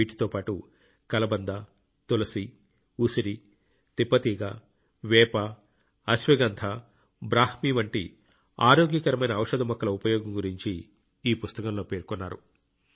వీటితో పాటు కలబంద తులసి ఉసిరి తిప్పతీగ వేప అశ్వగంధ బ్రాహ్మి వంటి ఆరోగ్యకరమైన ఔషధ మొక్కల ఉపయోగం గురించి ఈ పుస్తకంలో పేర్కొన్నారు